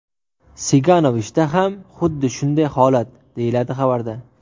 Siganovichda ham xuddi shunday holat”, deyiladi xabarda.